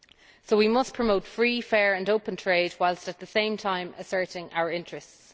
So we must promote free, fair and open trade whilst at the same time asserting our interests.